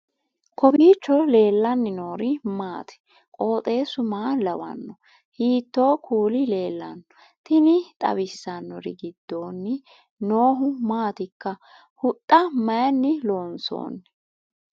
kowiicho leellannori maati ? qooxeessu maa lawaanno ? hiitoo kuuli leellanno ? tini xawissannori gidoonni noohu maatikka huxxa mayinni loonsoonni